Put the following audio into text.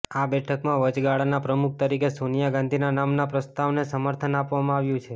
આ બેઠકમાં વચગાળાના પ્રમુખ તરીકે સોનિયા ગાંધીના નામના પ્રસ્તાવને સમર્થન આપવામાં આવ્યું છે